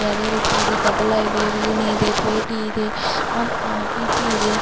ಅದೇ ರೀತಿಯಾಗಿ ತಬಲ ಇವೆ ವೀಣೆ ಇದೆ ಪೇಟಿ ಇದೆ ಹಾ-ಪ- ಪೀಪಿ ಇದೆ.